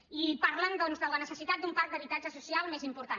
i parlen de la necessitat d’un parc d’habitatge social més important